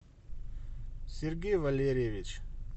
сергей валерьевич